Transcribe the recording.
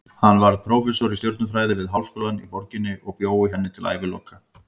Hann varð prófessor í stjörnufræði við háskólann í borginni og bjó í henni til æviloka.